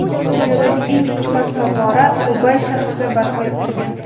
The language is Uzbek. Dunyodagi eng qimmat favvora Dubay shahrida barpo etilgan.